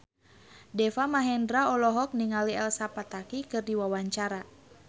Deva Mahendra olohok ningali Elsa Pataky keur diwawancara